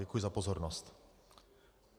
Děkuji za pozornost.